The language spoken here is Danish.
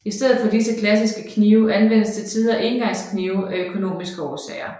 I stedet for disse klassiske knive anvendes til tider engangsknive af økonomiske årsager